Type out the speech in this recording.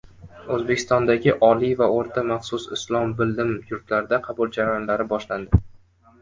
O‘zbekistondagi oliy va o‘rta maxsus islom bilim yurtlarida qabul jarayonlari boshlandi.